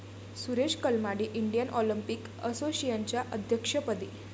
Suresh Kalmadi Indian Olympic असोसिएशनच्या अध्यक्षपदी